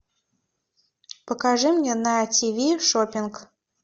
покажи мне на тиви шопинг